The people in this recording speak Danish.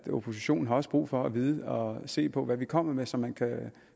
oppositionen har brug for at vide og se på hvad vi kommer med så man